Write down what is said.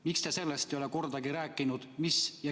Miks te sellest ei ole kordagi rääkinud?